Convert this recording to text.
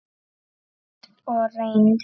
Sýnd og reynd.